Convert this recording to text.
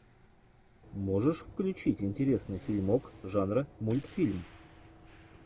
можешь включить интересный фильмок жанра мультфильм